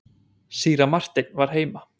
Síra Marteinn var heima.